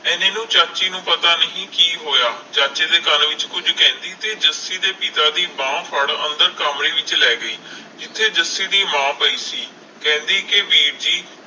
ਇਹਨੇ ਨੂੰ ਚਾਚੀ ਨੂੰ ਪਤਾ ਨਹੀਂ ਕਿ ਹੋਇਆ ਚਾਚੇ ਦੇ ਕੰਨ ਵਿਚ ਕੁਝ ਕਹਿੰਦੀ ਤੇ ਜੱਸੀ ਦੇ ਪਿਤਾ ਦੀ ਬਾਂਹ ਫੜ੍ਹ ਅੰਦਰ ਕਮਰੇ ਚ ਲੈ ਗਈ ਜਿਥੇ ਜੱਸੀ ਦੀ ਮਾਂ ਪਈ ਸੀ ਕਹਿੰਦੀ ਕੇ ਵੀਰ ਜੀ